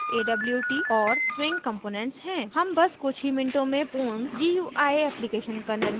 हम बस कुछ ही मिनटों में पूर्ण gui application का निर्माण करने के लिए इस शक्तिशाली visual editor का उपयोग करेंगे